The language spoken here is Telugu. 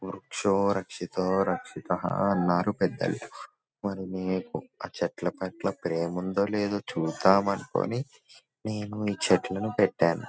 వృక్షో రక్షిత రక్షితః అన్నారు పెద్దలు మరి నీకు ఆ చెట్ల పట్ల ప్రేమ ఉందో లేదో చూద్దాం అనుకుని నేను ఈ చెట్లను పెట్టాను .